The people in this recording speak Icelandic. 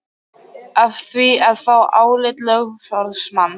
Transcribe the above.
með því að fá álit lögfróðs manns.